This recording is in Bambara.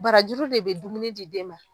Barajuru de bɛ dumuni di den ma.